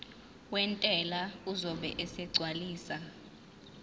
wentela uzobe esegcwalisa